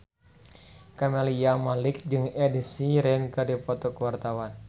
Camelia Malik jeung Ed Sheeran keur dipoto ku wartawan